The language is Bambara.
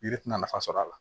Yiri tɛna nafa sɔrɔ a la